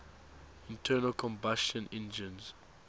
internal combustion engines